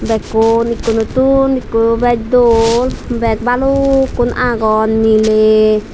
bakun ekonotun eko bech dol bag balukun agon miler.